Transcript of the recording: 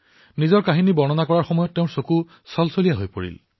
নিজৰ কাহিনী শুনোৱাৰ সময়ত তেওঁৰ চকুৰে চকুলো বৈ আহিছিল